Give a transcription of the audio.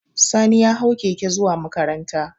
Sani ya hau keke zuwa makaranta